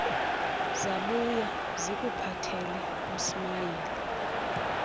zabuya zikuphathele usmayili